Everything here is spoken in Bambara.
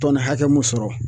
Tɔni hakɛ mun sɔrɔ